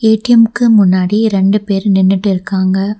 ATM க்கு முன்னாடி இரண்டு பேர் நின்னுட்டிருக்காங்க.